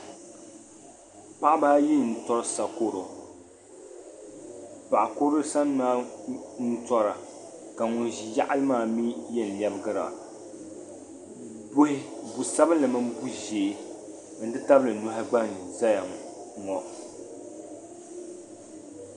Paɣiba ayi n-tɔri sakoro. Paɣ' kurili sani maa n-tɔra ka ŋun ʒi yaɣili maa mi yɛn lɛbigira. Bu' sabilinli mini bu' ʒee nti tabili nɔhi gba n-zaya ŋɔ.